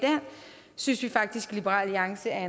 synes faktisk i liberal alliance at